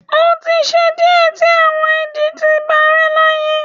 o ti ṣe diẹ ti awọn idi ti parẹ́ láyé